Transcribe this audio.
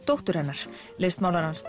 dóttur hennar listmálarans